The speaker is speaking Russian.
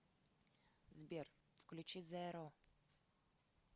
сбер включи зеро